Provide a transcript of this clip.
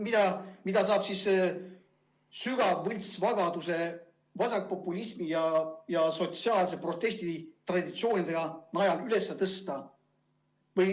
Seda kõike saab sügava võltsvagaduse, vasakpopulismi ja sotsiaalsete protestitraditsioonide abil üles tõsta.